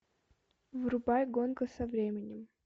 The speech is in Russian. врубай гонка со временем